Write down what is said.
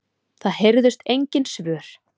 Það heyrðust engin svör.